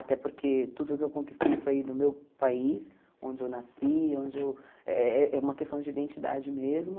Até porque tudo que eu conquistei foi no meu país, onde eu nasci, onde eu eh... É uma questão de identidade mesmo.